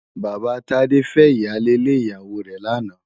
Baba Tade fè iyálé lé iyáwó rè làná